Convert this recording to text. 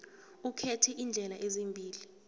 ukhethe iindlela ezimbili